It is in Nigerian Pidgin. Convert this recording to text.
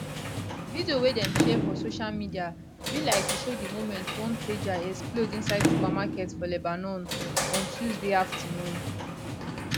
video wey dem share for social media be like e show di moment one pager explode inside supermarket for lebanon on tuesday afternoon